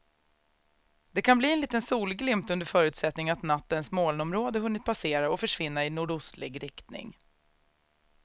Det kan bli en liten solglimt under förutsättning att nattens molnområde hunnit passera och försvinna i nordostlig riktning.